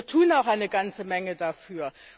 Wir tun auch eine ganze Menge dafür.